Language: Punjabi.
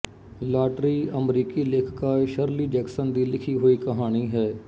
ਲਾਟਰੀ ਅਮਰੀਕੀ ਲੇਖਿਕਾ ਸ਼ਰਲੀ ਜੈਕਸਨ ਦੀ ਲਿਖੀ ਹੋਈ ਕਹਾਣੀ ਹੈ